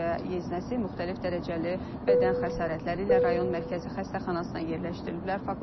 Özü və yeznəsi müxtəlif dərəcəli bədən xəsarətləri ilə rayon mərkəzi xəstəxanasına yerləşdiriliblər.